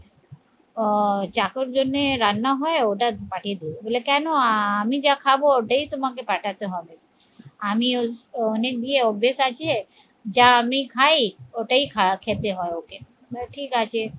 ও চাকর জন্যে রান্না হয় ওটা পার্টির বলে কেন আহ আমি যা খাবো ওটাই তোমাকে পাঠাতে হবে আমি অনেক দিয়ে অভ্যেস আছে যা আমি খাই ওটাই খারাপ খেতে হয় ওকে ঠিক আছে